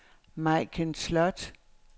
Majken Slot